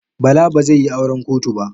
Bala ba zai yi auran kotu ba.